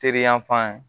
Teri yan fan